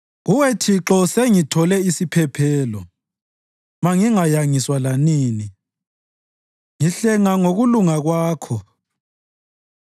Kuwe Thixo, sengithole isiphephelo; mangingayangiswa lanini; ngihlenga ngokulunga Kwakho.